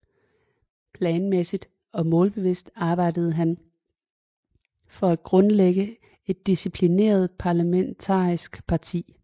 Planmæssig og målbevidst arbejdede han for at grundlægge et disciplineret parlamentarisk parti